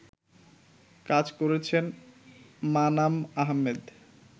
কাজ করেছেন মানাম আহমেদ